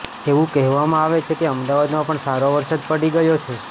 એવું કહેવામાં આવે છે કે અમદાવાદમાં પણ સારો વરસાદ પડી ગયો છે